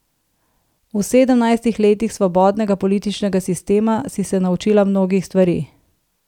V sedemnajstih letih svobodnega političnega sistema si se naučila mnogih stvari.